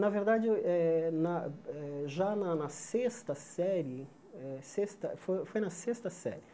Na verdade, eu eh na eh já na na sexta série, eh sexta fo foi na sexta série,